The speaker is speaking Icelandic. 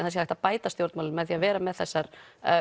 það sé hægt að bæta stjórnmálin með því að vera með þessar